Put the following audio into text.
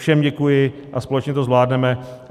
Všem děkuji a společně to zvládneme.